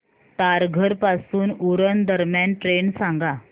तारघर पासून उरण दरम्यान ट्रेन सांगा